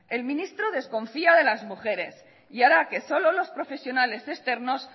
el ministro desconfía de las mujeres y hará que solo los profesionales externos